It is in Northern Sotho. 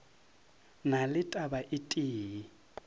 na le taba e tee